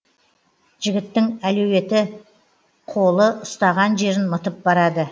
жігіттің әлуетті қолы ұстаған жерін мытып барады